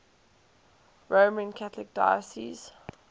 roman catholic diocese